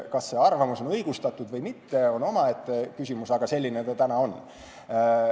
Kas see arvamus on õigustatud või mitte, on omaette küsimus, aga selline see on.